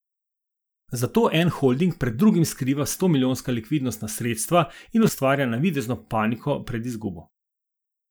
Zato en holding pred drugim skriva stomilijonska likvidnostna sredstva in ustvarja navidezno paniko pred izgubo.